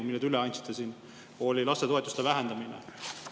–, mille te üle andsite, oli lastetoetuste vähendamine.